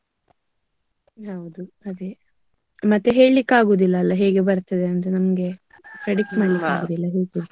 ಹೌದು ಅದೇ. ಮತ್ತೆ ಹೇಳಿಕೆ ಆಗುದಿಲ್ಲ ಅಲ್ಲಾ ಹೇಗೆ ಬರ್ತದೆ ಅಂತ ನಮ್ಗೆ. predict ಮಾಡ್ಲಿಕ್ಕೆ ಆಗುದಿಲ್ಲ ಹೇಗೆ ಅಂತ.